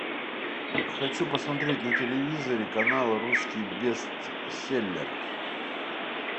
хочу посмотреть на телевизоре канал русский бестселлер